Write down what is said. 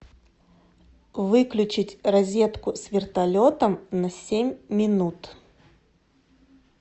выключить розетку с вертолетом на семь минут